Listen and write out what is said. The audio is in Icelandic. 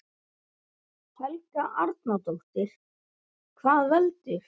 Helga Arnardóttir: Hvað veldur?